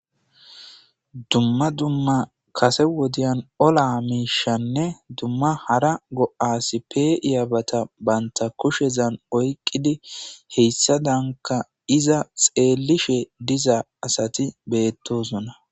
dumma dumma kase wodiyan ola miishanne dumma hara go7as pe iyabata banta kushezan oyqqidi heyssa danka iza xeellishe dizaa asati beettosona